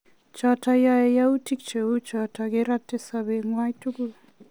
Choton yae yautik cheuchuton kerate sobet nywan tukul